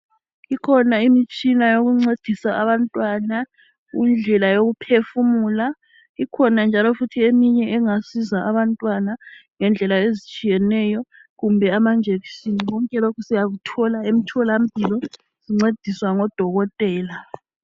Ikhona imitshina yokuncedisa abantwana indlela yokuphefumula. Ikhona njalo eminye engasiza abantwana ngendlela ezitshiyeneyo kumbe amajekiseni konke lokhu siyakuthola emtholampilo sincediswa ngodokotela.